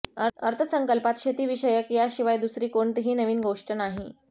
अर्थसंकल्पात शेतीविषयक याशिवाय दुसरी कोणतीही नवीन गोष्ट नाही